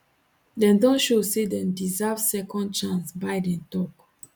dem don show say dem deserve second chance biden tok